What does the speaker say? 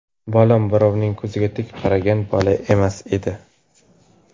Bolam birovning ko‘ziga tik qaragan bola emas edi.